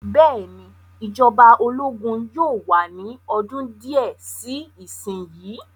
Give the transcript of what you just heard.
Bẹ́ẹ̀ ni, ìjọba ológun yóò wà ní ọdún díẹ̀ sí ìsìn yìí.